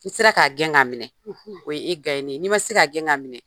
N'i sera k'a gɛn ka minɛ, o ye e nen ye, n'i ma se k'a gɛn k'a minɛ